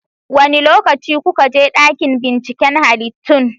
Wane lokaci kuka je dakin binciken halittun?